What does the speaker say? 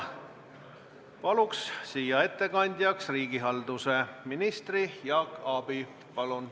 Palun siia ettekandjaks riigihalduse ministri Jaak Aabi.